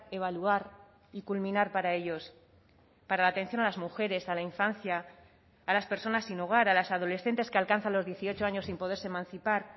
evaluar y culminar para ellos para la atención a las mujeres a la infancia a las personas sin hogar a las adolescentes que alcanzan los dieciocho años sin poderse emancipar